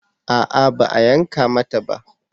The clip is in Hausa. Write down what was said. A'a ba a yanka mata ba